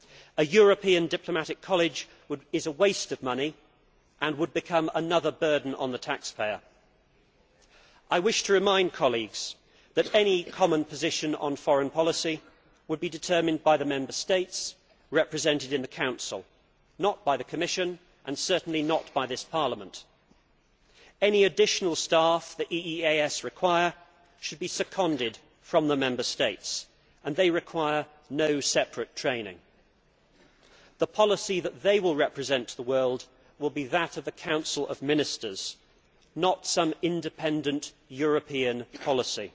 A European diplomatic college is a waste of money and would become another burden on the taxpayer. I wish to remind colleagues that any common position on foreign policy would be determined by the Member States represented in the Council, not by the Commission, and certainly not by this Parliament. Any additional staff the EEAS requires should be seconded from the Member States, and they require no separate training. The policy that they will represent to the world will be that of the Council of Ministers, not some independent European policy.